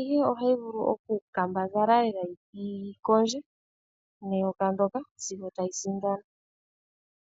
ihe ohayi vulu okukambadhala lela yi kondje neyoka ndyoka sigo tayi sindana.